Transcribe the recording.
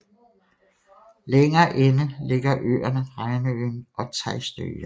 Længere inde ligger øerne Reinøyen og Teistøya